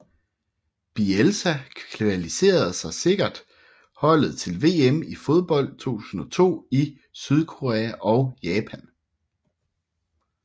Bielsa kvalificerede sikkert holdet til VM i fodbold 2002 i Sydkorea og Japan